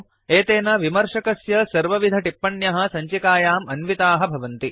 एतेन विमर्शकस्य सर्वविधटिप्पण्यः सञ्चिकायाम् अन्विताः भवन्ति